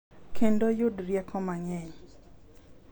Kendo yud rieko mang’eny.